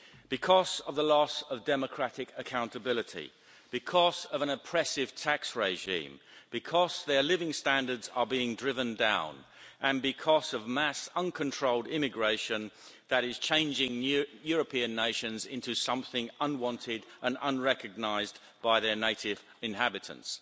Because of the loss of democratic accountability, because of an oppressive tax regime, because their living standards are being driven down, and because of mass uncontrolled immigration that is changing European nations into something unwanted and unrecognised by their native inhabitants.